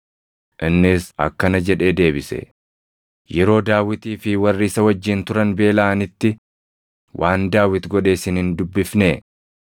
Innis akkana jedhee deebise; “Yeroo Daawitii fi warri isa wajjin turan beelaʼanitti waan Daawit godhe isin hin dubbifnee?